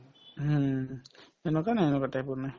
হুম, সেনেকুৱা নাই এনেকুৱা type ৰ নাই